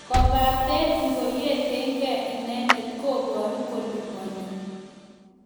Kobaten ngoyetenge inendet koboru koliponi.